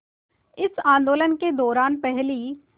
इस आंदोलन के दौरान पहली